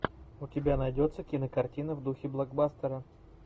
у тебя найдется кинокартина в духе блокбастера